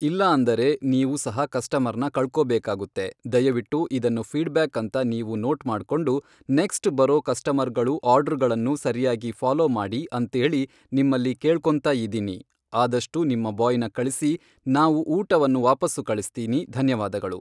ಇಲ್ಲ ಅಂದರೆ ನೀವು ಸಹ ಕಸ್ಟಮರ್ನ ಕಳ್ಕೊಬೇಕಾಗುತ್ತೆ ದಯವಿಟ್ಟು ಇದನ್ನು ಫೀಡ್ಬ್ಯಾಕ್ ಅಂತ ನೀವು ನೋಟ್ ಮಾಡ್ಕೊಂಡು ನೆಕ್ಸ್ಟ್ ಬರೊ ಕಸ್ಟಮರ್ಗಳು ಆರ್ಡ್ರಗಳನ್ನು ಸರಿಯಾಗಿ ಫ಼ಾಲೋ ಮಾಡಿ ಅಂಥೇಳಿ ನಿಮ್ಮಲ್ಲಿ ಕೇಳ್ಕೋಂತಯಿದ್ದೀನಿ ಆದಷ್ಟು ನಿಮ್ಮ ಬಾಯ್ನ ಕಳಿಸಿ ನಾವು ಊಟವನ್ನು ವಾಪಾಸ್ಸು ಕಳಿಸ್ತೀನಿ ಧನ್ಯವಾದಗಳು